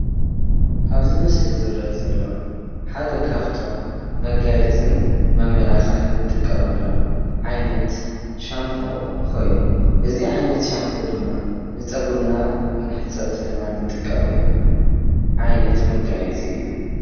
ኣብዚ ምስሊ ዝረአይ ዘሎ ሓደ ካብቶም መጋየፅን መመላኽዕን ንጥቀመሎም ዓይነት ሻምፖ ኾይኑ እዚ ዓይነት ሻምፖ ድማ ንፀጉርና ክንሕፀብ ተለና ንጥቀመሉ ዓይነት መጋየፂ እዩ፡፡